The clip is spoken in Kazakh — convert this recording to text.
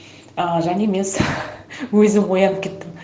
ыыы және мен өзім ояңып кеттім